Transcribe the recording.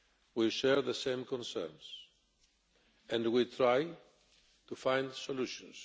We share the same concerns and we are trying to find solutions.